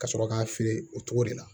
Ka sɔrɔ k'a feere o cogo de la